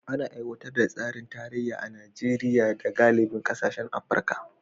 Ana aiwatar da tsarin tarayya a Najeriya da galibin kasashen Afirka